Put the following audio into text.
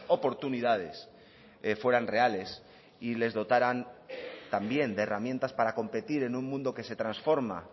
oportunidades fueran reales y les dotaran también de herramientas para competir en un mundo que se transforma